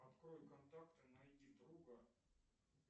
открой контакты найди друга